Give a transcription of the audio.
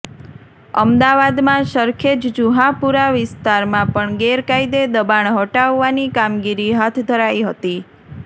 અમદાવાદમાં સરખેજ જુહાપુરા વિસ્તારમાં પણ ગેરકાયદે દબાણ હટાવવાની કામગીરી હાથ ધરાઈ હતી